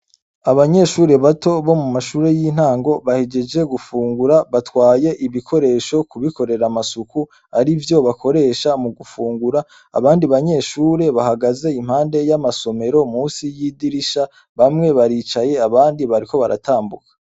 Abanyeshure bato bo mumashure y' intango bahejeje gufungura batwaye ibikoresho kubikorera amasuku arivyo bakoresha mugufungura abandi banyeshure bahagaze impande y' amasomero musi y' idirisha bamwe baricaye abandi bariko baratambuka.